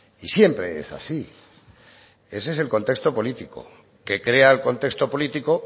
y siempre es así ese es el contexto político que crea el contexto político